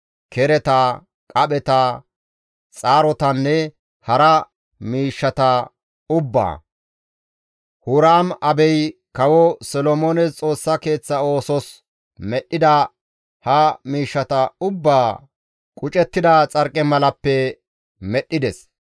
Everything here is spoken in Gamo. kereta, qapheta, xaarotanne hara miishshata ubbaa. Huraam-Abey Kawo Solomoones Xoossa Keeththa oosos medhdhida ha miishshata ubbaa qucettida xarqimalappe medhdhides.